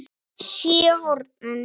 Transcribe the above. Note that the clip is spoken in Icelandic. SÉR HORNIN.